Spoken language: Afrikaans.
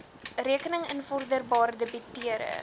rekenings invorderbaar debiteure